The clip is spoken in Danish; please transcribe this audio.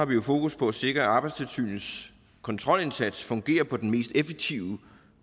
vi har fokus på at sikre at arbejdstilsynets kontrolindsats fungerer på den mest effektive